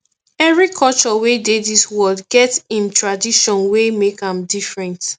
every culture wey dey dis world get em tradition wey make am different